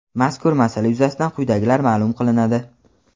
mazkur masala yuzasidan quyidagilar maʼlum qilinadi.